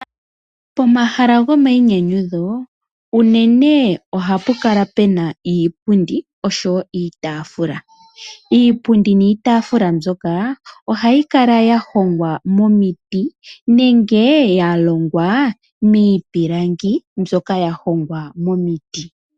Pomahala gomainyanyudho unene ohapu kala puna iipundi, noshowo iitaafula. Iipundi niitaafula mbyoka ohayi kala yahongwa momiti, nenge yalongwa miipilangi mbyoka yahongwa momiti.